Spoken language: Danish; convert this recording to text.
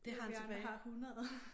Hvor vi andre har 100